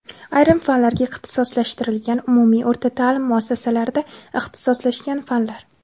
ayrim fanlarga ixtisoslashtirilgan umumiy o‘rta taʼlim muassasalarida ixtisoslashgan fanlar.